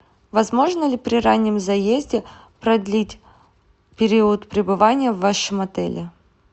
возможно ли при раннем заезде продлить период пребывания в вашем отеле